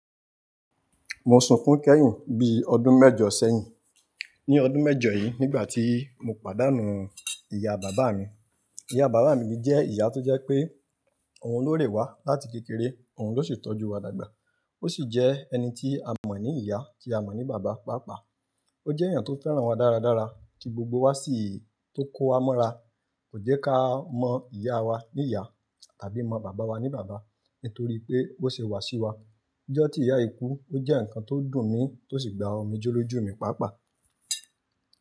Mo sunkún kẹ́hin bí ọdún mẹ́jọ sẹ́hin. Ní ọdún mẹ́jọ yìí, nígbàtí mo pàdánù ìyá bàbá mi. Ìyá bàbá mi jẹ́ ìyá tó jẹ́ pé òun lóre wa láti kékeré òun ló sì tọ́jú wa dàgbà. Ó sì jẹ́ ẹni tí a mọ̀ ní ìyá tí a mọ̀ ní bàbá pàápàá. Ó jẹ́ ẹ̀yàn tí ó fẹ́ràn wa dáradára tí gbogbo wa sì, tó wá mọ́ra. Kò jẹ́ ká mọ ìyá wa ní ìyá tàbí mọ bàbá wa ní bàbá nítorí pé bó ṣe wasi wa. Ọjọ́ tí ìyá yì kú ó jẹ́ ǹkan tí ó dùn mí tí ó sì gba ọmi jẹ́ lọ jù mí pàápàá.